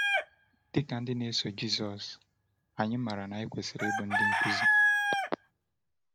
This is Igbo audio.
Dị ka ndị na-eso Jisọs, anyị maara na anyị kwesịrị ịbụ ndị nkuzi.